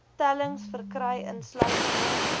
tellings verkry insluitende